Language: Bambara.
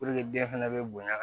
den fɛnɛ be bonya